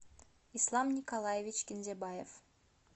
ислам николаевич кинзябаев